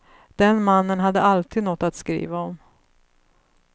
Den mannen hade alltid något att skriva om.